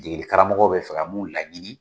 Degeli karamɔgɔw bɛ fɛ ka mun laɲini